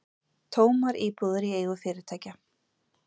Tómar íbúðir í eigu fyrirtækja